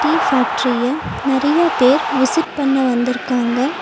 Tea ஃபாக்டரிய நெறையா பேர் விசிட் பண்ண வந்துருக்காங்க.